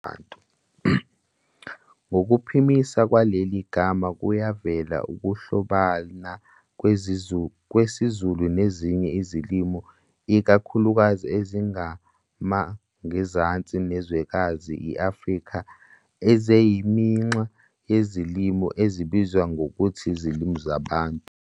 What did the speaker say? Ngokuphimisa kwaleli gama kuyavela ukuhlobana kwesiZulu nezinye izilimi ikakhulukazi ezimangenzansi nezwekazi i-Afrika eziyiminxa yezilimi ezibizwa ngokuthi Izilimi zaBantu.